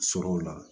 Sɔrɔ o la